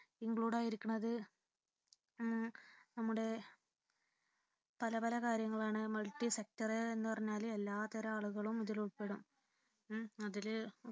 include ആയിരി ക്കുന്നത് നമ്മുടെ പലപല കാര്യങ്ങളാണ് multi sector എന്ന് പറഞ്ഞാല് എല്ലാത്തരം ആളുകളും ഇതിൽ ഉൾപ്പെടും അതിൽ